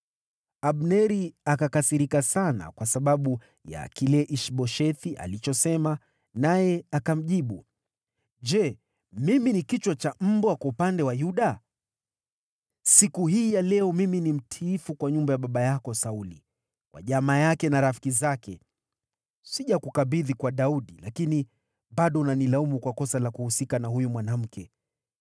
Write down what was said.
Abneri akakasirika sana kwa sababu ya kile Ish-Boshethi alichosema, naye akamjibu, “Je, mimi ni kichwa cha mbwa, kwa upande wa Yuda? Siku hii ya leo mimi ni mtiifu kwa nyumba ya baba yako Sauli, kwa jamaa yake na rafiki zake. Sijakukabidhi kwa Daudi, lakini bado unanilaumu kwa kosa la kuhusika na huyu mwanamke!